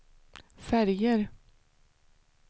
färger